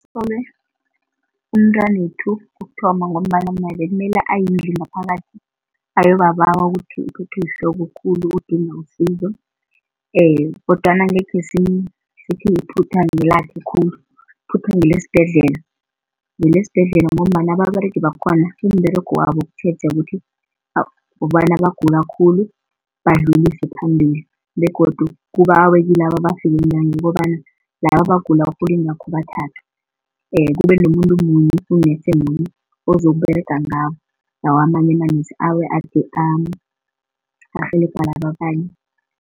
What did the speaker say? Kusolwe umntwanethu kokuthoma ngombana naye bekumele ayengaphakathi ayobabawa ukuthi uphethwe yihloko khulu udinga usizo, kodwana angekhe sithi iphutha ngakelakhe khulu iphutha ngelesibhedlela. Ngelesibhedlela ngombana ababeregi bakhona umberego wabo kutjhetjha ukuthi, kobana abagula khulu badlulise phambili begodu kubawe kilaba abafike ntange kobana laba abagula bathathwe. Kube nomuntu munye u-nurse munye ozokuberega ngabo, lawa amanye ama-nurse arhelebha laba abanye.